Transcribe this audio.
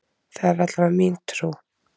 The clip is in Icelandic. Það er allavega mín trú.